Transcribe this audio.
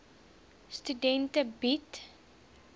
studente bied